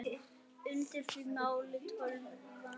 Undir því malaði tölvan.